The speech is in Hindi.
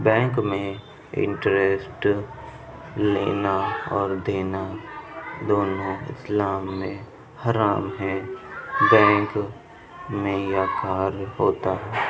बैंक में इंटरेस्ट लेना और देना दोनों इस्लाम में हराम है। बैंक में यह कार्य होता है।